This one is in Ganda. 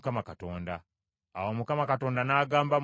Awo Mukama Katonda n’agamba Musa nti,